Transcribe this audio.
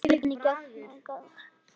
Og hvernig gat annað verið?